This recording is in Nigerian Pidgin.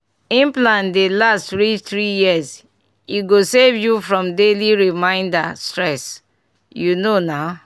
implant dey last reach three years e go save you from daily reminder stress you know na!